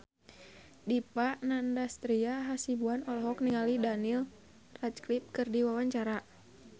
Dipa Nandastyra Hasibuan olohok ningali Daniel Radcliffe keur diwawancara